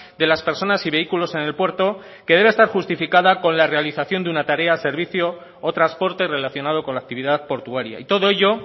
de las personas y vehículos en el puerto que debe estar justificada con la realización de una tarea servicio o transporte relacionado con la actividad portuaria y todo ello